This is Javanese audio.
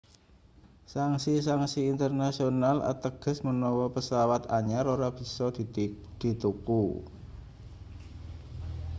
sanksi-sanksi internasional ateges menawa pesawat anyar ora bisa dituku